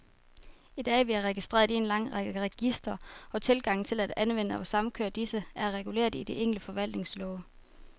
I dag er vi registreret i en lang række registre, og tilgangen til at anvende og samkøre disse, er reguleret i de enkelte forvaltningslove.